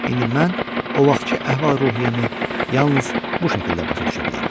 İndi mən o vaxtki əhval-ruhiyyəmi yalnız bu şəkildə başa düşə bilərəm.